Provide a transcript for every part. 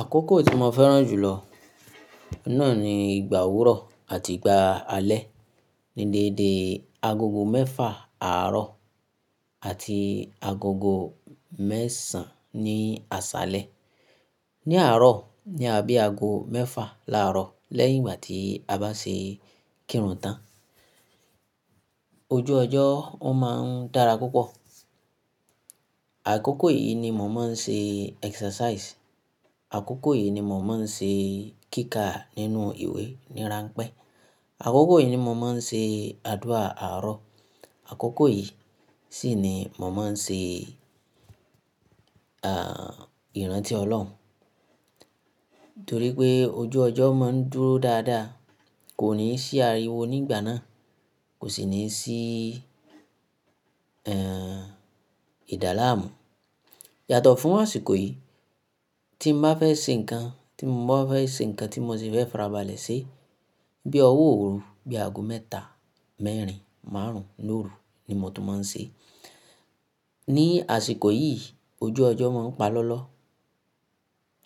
Àkókò tí mo fẹ́ràn jù lọ náà ni ìgbà òwúrọ̀ àti ìgbà alẹ́. Ni dédé agogo mẹ́fà àárọ̀ àti agogo mẹ́sàn án ní àṣálẹ́. Ni àárọ̀ ni a bí ago mẹ́fà láàárọ̀ lẹ́yìn ìgbà tí a bá ṣe kírun tán. Ojú ọjọ́ ó má ń dára púpọ̀. Àkókò yìí ni mò má ń ṣe exercise. Àkókò yìí ni mò má ń ṣe kíkà nínú ìwé ní ranpẹ́. Àkókò yìí ni mò má ń ṣe àdúà àárọ̀. Àkókò yìí sì ni mò má ń ṣe, eeh, ìrántí ọlọ́run. Torí pé ojú ọjọ́ má ń dúró dáadáa. Kò ní sí ariwo ní ìgbà náà. Kò sì ní sí, eeh, ìdá làámù. Yàtọ̀ fún àsìkò yìí, tí mo bá fẹ́ ṣe nǹkan, tí mo bá fẹ́ ṣe nǹkan tí mo sì fẹ́ farabalẹ̀ ṣe, bí i ọwọ́ òru, bí i ago mẹ́ta, mẹ́rin, márùn ún, lóru ni mò tún má ń ṣe. Ni àsìkò yìí ojú ọjọ́ má ń pa lọ́lọ́.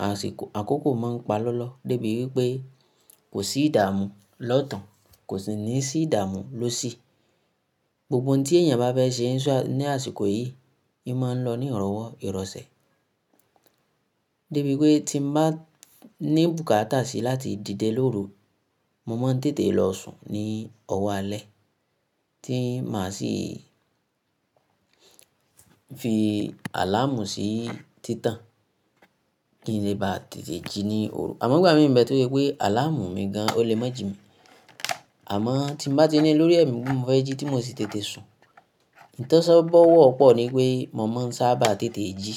Àsìkò-- àkókò má ń pa lọ́lọ́ débi wípé kò sí ìdààmú lọ́tun, kò sì ní sí ìdààmú lósì. Gbogbo oun tí èèyàn bá fẹ́ ṣe ní àsìkò yìí, ni máa lọ ní ìrọ̀wọ́ ìrọ̀sẹ̀. Débi wípé tí mo bá ní bùkátà si láti dìde lóru, mo má ń tètè lọ sùn ní ọwọ́ alẹ́ tí màá sì fi àláàmù sí títàn kí n lè bá tètè jí ní òru. Àmọ́ ìgbà mìíràn bẹ́ẹ̀ toje pé àláàmù mi gan-an ó le mọ́ jù mi. Àmọ́ tí mo bá ti ní lórí ẹ̀mí pé mo fẹ́ jí tí mò sì tètè sùn, ìtọ́sọ́nà bú ọ́ pọ̀ ni pé mò má ń sáábà tètè jí.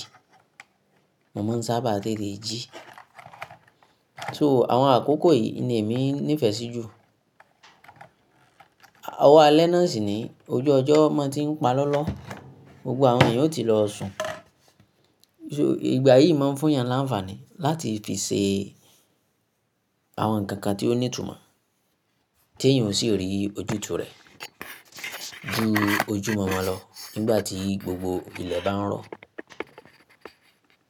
Mo má ń sáábà tètè jí. So àwọn àkókò yìí ni èmi nífẹ̀ẹ́ sí jù. Ọwọ́ alẹ́ náà sì ni ojú ọjọ́ má tí ń pa lọ́lọ́, gbogbo àwọn èèyàn ó ti lọ sùn. So ìgbà yìí má ń fún èèyàn láńfààní láti fi ṣe àwọn nǹkan tí ó ní ìtumọ̀ tí èèyàn ó si rí ojútùú rẹ̀ ju ojú mọ̀ọ́mọ̀ lọ nígbà tí gbogbo ilẹ̀ bá ń rọ̀